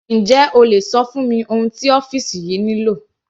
Njẹ́ o lè ṣọ fún mi ohun tí ọ́fìsì yìí nílò?